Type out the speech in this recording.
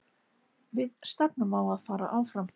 Við stefnum á að fara áfram.